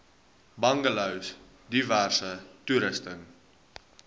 bungalows diverse toerusting